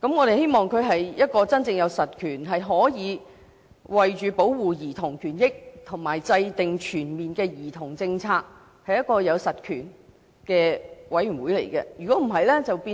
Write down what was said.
我們希望這個委員會真正有實權，可以為保護兒童權益而制訂全面的兒童政策，否則只會變